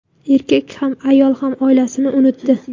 Erkak ham, ayol ham oilasini unutdi.